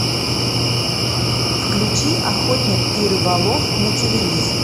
включи охотник и рыболов на телевизоре